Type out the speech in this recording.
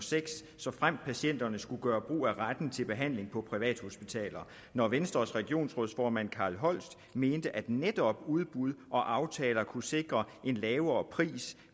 og seks såfremt patienterne skulle gøre brug af retten til behandling på privathospitaler når venstres regionsformand carl holst mente at netop udbud og aftaler kunne sikre en lavere pris